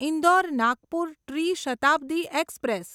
ઇન્દોર નાગપુર ટ્રી શતાબ્દી એક્સપ્રેસ